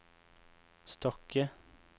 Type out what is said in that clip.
Stokke